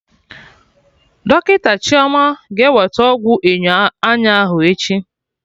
Dọkịta Chioma ga-eweta ọgwụ enyo anya ahụ echi